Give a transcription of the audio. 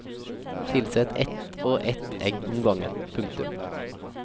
Tilsett ett og ett egg om gangen. punktum